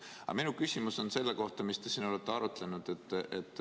Aga minu küsimus on selle kohta, mida te siin olete arutanud.